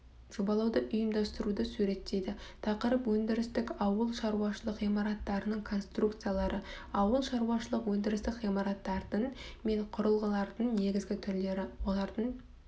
жобалауды ұйымдастыруды суреттейді тақырып өндірістік ауыл шаруашылық ғимараттарының конструкциялары ауыл шаруашылық өндірістік ғимараттардың мен құрылғылардың негізгі түрлері олардың